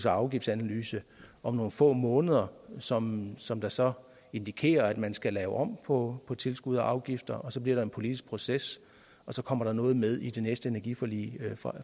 afgiftsanalyse om nogle få måneder som som der så indikerer at man skal lave om på tilskud og afgifter og så bliver der en politisk proces og så kommer der noget med i det næste energiforlig